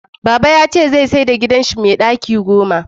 Baba ya ce zai sayar da gidanshi mai daki goma